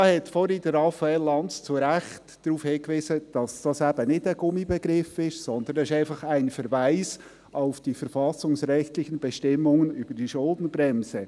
Raphael Lanz wies vorher zu Recht darauf hin, dass dies nicht ein Gummibegriff ist, sondern ein Verweis auf die verfassungsrechtlichen Bestimmungen über die Schuldenbremse.